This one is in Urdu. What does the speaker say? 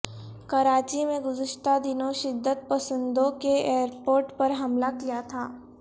کراچی میں گذشتہ دنوں شدت پسندوں نے ایئرپورٹ پر حملہ کیا تھا